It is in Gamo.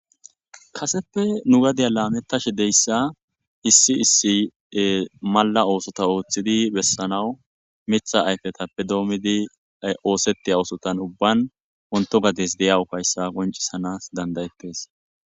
Kaseppe nu gadiya laamettashe deyssa issi issi ee malla oosota oothidi bessanaw mitha ayfetappe doomidi oosettiya oosotan ubban wontto gades diya ufayssa qonccissanaas dandda7ettes.